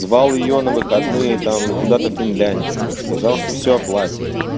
звал её на выходные там куда-то финляндию сказал что всё оплатит